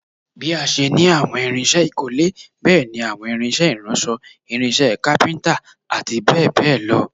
Bí a ṣe ní àwọn irinṣẹ́ ìkọ́lé, bẹ́ẹ̀ ni àwọn irinṣẹ́ ìránṣọ̀, irinṣẹ́ kápíntà, àti bẹ́ẹ̀ bẹ́ẹ̀ lọ